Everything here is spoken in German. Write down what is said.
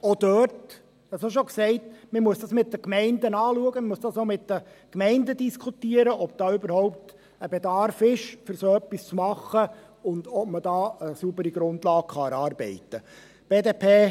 Auch dort – auch dies habe ich schon gesagt –muss man es mit den Gemeinden anschauen, mit den Gemeinden diskutieren, ob überhaupt ein Bedarf vorhanden ist, um so etwas bei einer nächsten Gesetzesrevision anzugehen, und ob man eine saubere Grundlage erarbeiten kann.